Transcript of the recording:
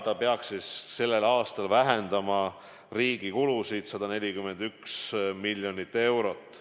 See peaks tänavu vähendama riigi kulusid 141 miljonit eurot.